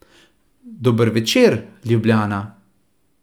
Dober večer, Ljubljana!